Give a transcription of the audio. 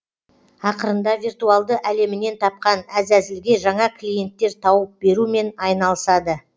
ақырында виртуалды әлемінен тапқан әзәзілге жаңа клиенттер тауып берумен айналысады